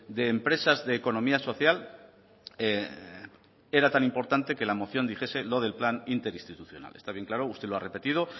de empresas de economía social era tan importante que la moción dijese lo del plan interinstitucional está bien claro usted lo ha repetido